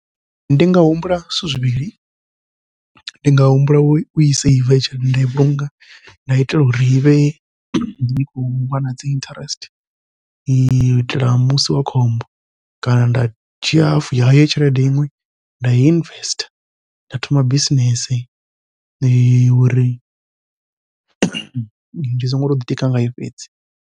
Ndi nga humbula zwithu zwivhili, ndi nga humbula ui seiva tshelede nda i vhulunga nda itela uri ivhe i khou wana dzi interest, u itela musi wa khombo kana nda dzhia half ya heyo tshelede iṅwe nda i investor nda thoma bisinese uri ndi songo to ḓitika ngayo fhedzi.